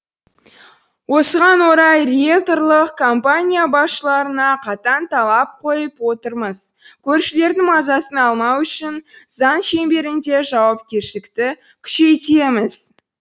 осыған орай риелторлық компания басшыларына қатаң талап қойып отырмыз көршілердің мазасын алмау үшін заң шеңберінде жауапкершілікті күшейтеміз